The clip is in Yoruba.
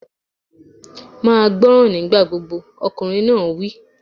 Máa jẹ́ gbọ́ràn nígbà gbogbo! Ọkùnrin náà wí.